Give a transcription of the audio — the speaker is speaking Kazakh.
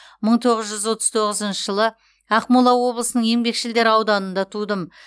мың тоғыз жүз отыз тоғызыншы жылы ақмола облысының еңбекшілдер ауданында тудым